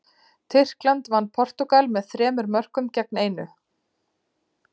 Tyrkland vann Portúgal með þremur mörkum gegn einu.